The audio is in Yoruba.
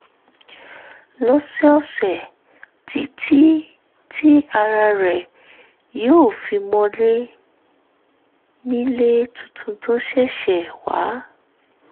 lọ́sọ̀ọ̀sẹ̀ títí tí ara rẹ̀ yóò fi mọlé nílé tuntun tó ṣẹ̀ṣẹ̀ wà